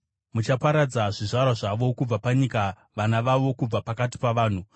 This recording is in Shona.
Muchaparadza zvizvarwa zvavo kubva panyika, vana vavo kubva pakati pavanhu.